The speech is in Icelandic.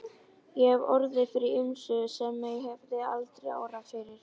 Ég hef orðið fyrir ýmsu sem mig hefði aldrei órað fyrir.